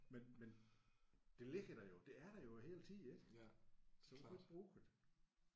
Men men det ligger der jo. Det er der jo hele tiden ik selvom du ikke bruger det